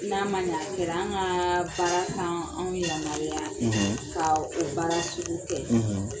N'a ma ɲa a kɛra, an ka baara t'an anw yamaruya ka o baara sugu kɛ